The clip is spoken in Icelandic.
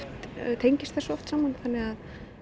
tengist þessu oft þannig að